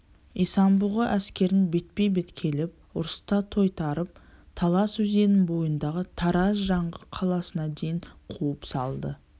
исан-бұғы әскерін бетпе-бет келіп ұрыста тойтарып талас өзенінің бойындағы тараз-жаңғы қаласына дейін қуып салды